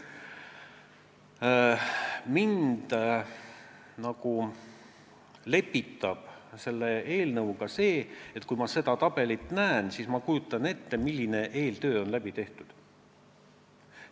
Mind lepitab selle eelnõuga see, et kui ma seda tabelit näen, siis ma kujutan ette, milline eeltöö on tehtud.